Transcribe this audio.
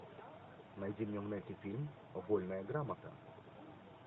найди мне в нете фильм вольная грамота